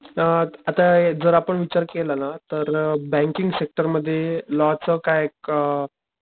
अ आता जर आपण विचार केला ना तर अ बँकिंग सेक्टर मध्ये लॉ च काय अ,